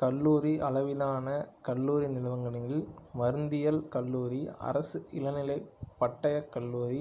கல்லூரி அளவிலான கல்வி நிறுவனங்களில் மருந்தியல் கல்லூரி அரசு இளநிலை பட்டயக் கல்லூரி